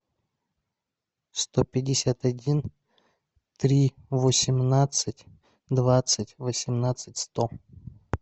сто пятьдесят один три восемнадцать двадцать восемнадцать сто